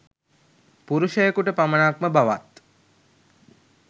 පුරුෂයකුට පමණක් ම බවත්